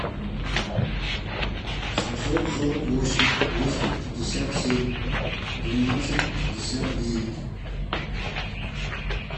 семьсот сорок восемь двести пятьдесят семь двенадцать пятьдесят девять